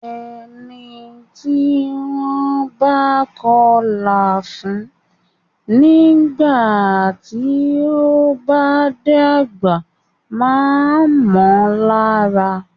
Ẹni tí wọ́n bá kọlà fún nígbà tí o bá dàgbà máa mọ lára.